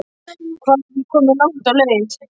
Hvað er ég komin langt á leið?